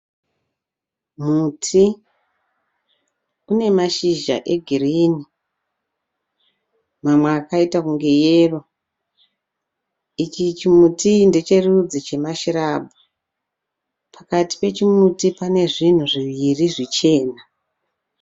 Muti une mashizha egreen, mamwe akaita kunge yero, ichi chimuti ndecherudzi chema shrub, pakati pechimuti pane zvinhu zviviri zvichena.